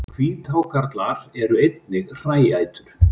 Hvíthákarlar eru einnig hræætur.